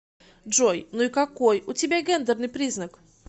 джой ну и какой у тебя гендерный признак